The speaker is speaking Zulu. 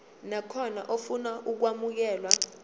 nakhona ofuna ukwamukelwa